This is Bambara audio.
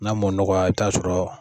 N'a m'o nɔgɔya i bi t'a sɔrɔ